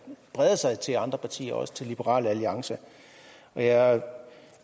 breder sig til andre partier og også til liberal alliance jeg